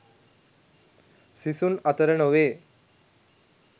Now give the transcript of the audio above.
සිසුන් අතර නොවේ.